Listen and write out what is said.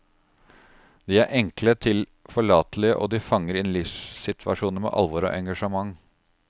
De er enkle, tilforlatelige, og de fanger inn livssituasjoner med alvor og engasjement.